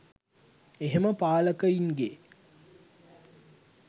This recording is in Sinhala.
එහෙම පාලකයින්ගේ